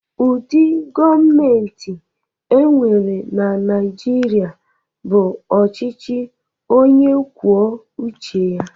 Ụdị gọọmentị e nwere na Naịjirịa bụ ọchịchị onye kwuo uche ya.